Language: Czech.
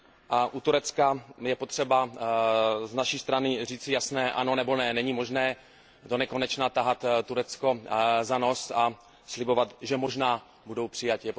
A u Turecka je potřeba z naší strany říci jasné ano nebo ne, není možné donekonečna tahat Turecko za nos a slibovat, že možná budou přijati.